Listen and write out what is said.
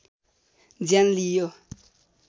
ज्यान लिइयो